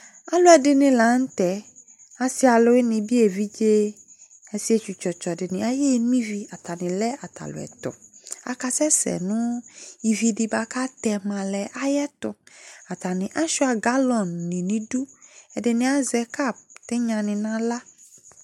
ɑluedini lɑnute ɑsialuvunibi ɛvidzebi ɑsietsu tsɔtso dini ɑyeno ivi ɑtanile ɑtaluetu ɑsesenu ividikatemale ɑyetu ɑtani ɑchoa gɑlonini idu ɛdini ɑze kɑp tinyadi ni nala